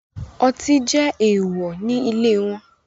Ọti jẹ eewọ ni ile wọn